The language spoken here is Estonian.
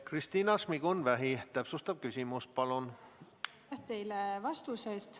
Kristina Šmigun-Vähi, täpsustav küsimus palun!